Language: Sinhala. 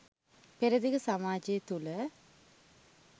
පෙරදිග සමාජය තුළ